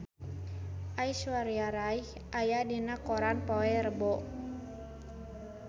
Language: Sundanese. Aishwarya Rai aya dina koran poe Rebo